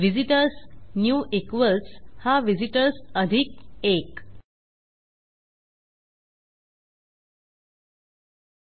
visitors new equals हा visitors अधिक 1